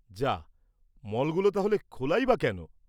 যাহ! মলগুলো তাহলে খোলাই বা কেন?